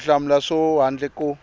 ku hlamula swona handle ko